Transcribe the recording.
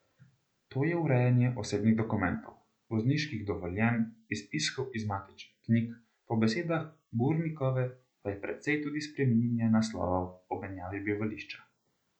To je urejanje osebnih dokumentov, vozniških dovoljenj, izpiskov iz matičnih knjig, po besedah Burnikove pa je precej tudi spreminjanja naslovov ob menjavi bivališča.